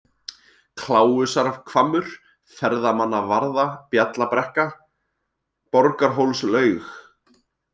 Kláusarhvammur, Ferðamannavarða, Bjallabrekka, Borgarhólslaug